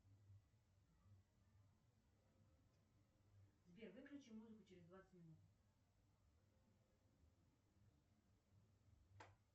сбер выключи музыку через двадцать минут